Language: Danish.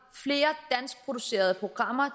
flere danskproducerede programmer